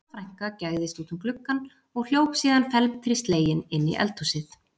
Solla frænka gægðist út um gluggann og hljóp síðan felmtri slegin inn í eldhúsið.